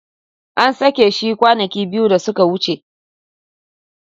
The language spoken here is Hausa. An sake shi kwanaki biyu da suka wuce.